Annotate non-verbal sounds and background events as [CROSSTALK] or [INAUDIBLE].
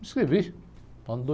Me inscrevi, ano [UNINTELLIGIBLE]